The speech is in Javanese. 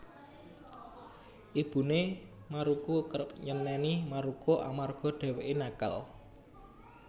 Ibune Maruko kerep nyeneni Maruko amarga dheweke nakal